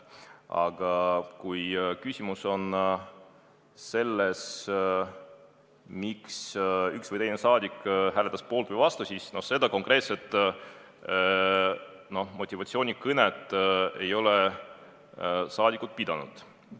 Aga kui küsimus on selles, miks üks või teine saadik hääletas poolt või vastu, siis konkreetset motivatsioonikõnet ei ole saadikud pidanud.